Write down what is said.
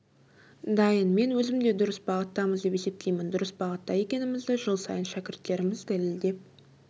дайын мен өзім де дұрыс бағыттамыз деп есептеймін дұрыс бағытта екенімізді жыл сайын шәкірттеріміз дәлелдеп